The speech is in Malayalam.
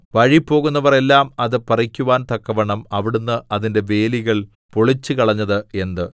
വഴിപോകുന്നവർ എല്ലാം അത് പറിക്കുവാൻ തക്കവണ്ണം അവിടുന്ന് അതിന്റെ വേലികൾ പൊളിച്ചുകളഞ്ഞത് എന്ത്